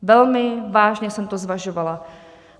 Velmi vážně jsem to zvažovala.